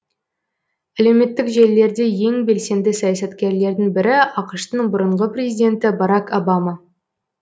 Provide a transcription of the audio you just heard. әлеуметтік желілерде ең белсенді саясаткерлердің бірі ақш тың бұрынғы президенті барак обама